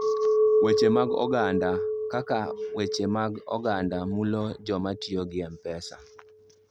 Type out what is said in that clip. Weche mag Oganda: Kaka weche mag oganda mulo joma tiyo gi M-Pesa.